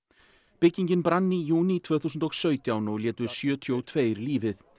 byggingin brann í júní tvö þúsund og sautján og létu sjötíu og tveir lífið